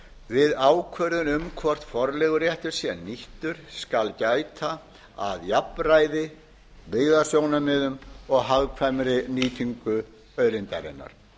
við ákvörðun um vort forleiguréttur sé nýttur skal gæta að jafnræði byggðasjónarmiðum og hagkvæmri nýtingu auðlindarinnar